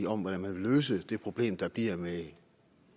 om hvordan man vil løse det problem der bliver